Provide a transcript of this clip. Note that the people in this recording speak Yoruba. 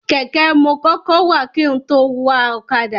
Kẹ̀kẹ́ mo kọ́kọ́ wà kin tó wa ọ̀kadà.